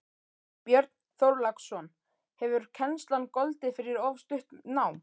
Björn Þorláksson: Hefur kennslan goldið fyrir of stutt nám?